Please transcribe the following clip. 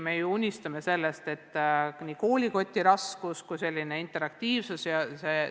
Me unistame sellest, et koolikoti raskus väheneks ja interaktiivsus suureneks.